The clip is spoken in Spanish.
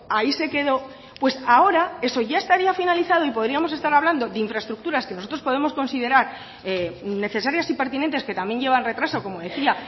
ahí se quedó pues ahora eso ya estaría finalizado y podríamos estar hablando de infraestructuras que nosotros podemos considerar necesarias y pertinentes que también llevan retraso como decía